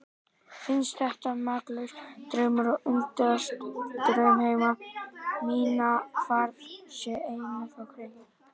Finnst þetta makalaus draumur og undrast draumheima mína, hvað þar sé eiginlega á kreiki.